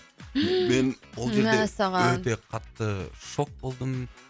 мәссаған мен ол жерде өте қатты шок болдым